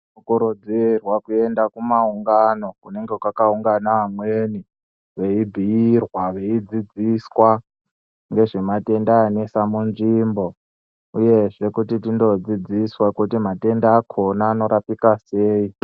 Tinokurudzirwa kuenda kumaungano kunenge kwakaungana vamweni. Veibhuirwa veidzidziswa ngezvematenda anesa munzvimbo, uyezve kuti tindodzidziswa kuti matenda akona anorapika sei.